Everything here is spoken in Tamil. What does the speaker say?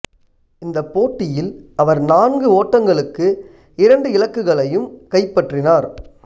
இந்த போட்டியில் அவர் நான்கு ஓட்டங்களுக்கு இரண்டு இலக்குகளையும் கைப்பற்றினார்